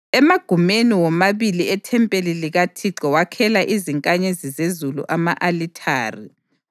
Emagumeni womabili ethempeli likaThixo wakhela izinkanyezi zezulu ama-alithare.